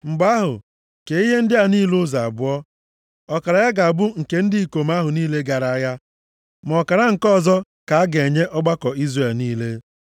Mgbe ahụ, kee ihe ndị a niile ụzọ abụọ. Ọkara ya ga-abụ nke ndị ikom ahụ niile gara agha, ma ọkara nke ọzọ ka a ga-enye ọgbakọ Izrel niile.